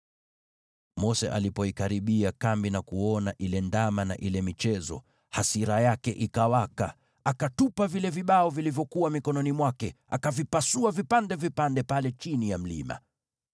Mose alipoikaribia kambi na kuona yule ndama na ile michezo, hasira yake ikawaka, akatupa vile vibao vilivyokuwa mikononi mwake, akavipasua vipande vipande pale chini ya mlima.